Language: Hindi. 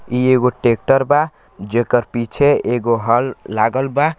ई एगो टेक्टर बा जेकर पीछे एगो हल लागल बा।